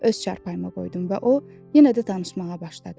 Öz çarpayıma qoydum və o yenə də danışmağa başladı.